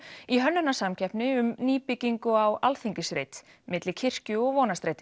í hönnunarsamkeppni um nýbyggingu á Alþingisreit milli kirkju og Vonarstrætis